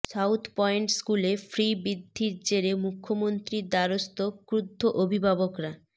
south Point স্কুলে ফি বৃদ্ধির জেরে মুখ্যমন্ত্রীর দ্বারস্থ ক্ষুদ্ধ অভিভাবকরা